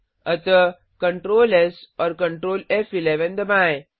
अतः Ctrl S और Ctrl फ़11 दबाएँ